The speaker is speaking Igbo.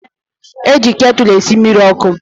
Eji ketụlụ esi mmiri ọkụ